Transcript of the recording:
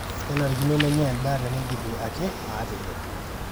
kenarikino nenyai endaa teneidipi ake aateyier